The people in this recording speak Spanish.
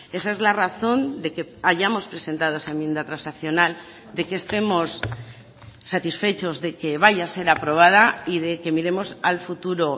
esa es la razón de que hayamos presentado esa enmienda transaccional de que estemos satisfechos de que vaya a ser aprobada y de que miremos al futuro